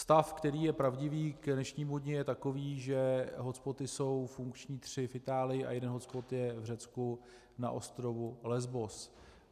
Stav, který je pravdivý k dnešnímu dni, je takový, že hotspoty jsou funkční tři v Itálii a jeden hotspot je v Řecku na ostrovu Lesbos.